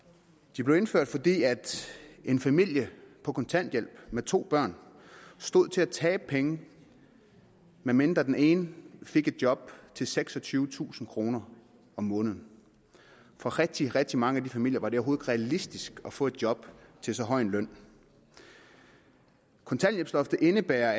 de blev indført fordi en familie på kontanthjælp med to børn stod til at tabe penge medmindre den ene fik et job til seksogtyvetusind kroner om måneden for rigtig rigtig mange af de familier var det realistisk at få et job til så høj en løn kontanthjælpsloftet indebærer